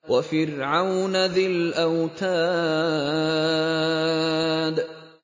وَفِرْعَوْنَ ذِي الْأَوْتَادِ